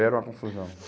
Era uma confusão.